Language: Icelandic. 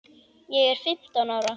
Ég er fimmtán ára.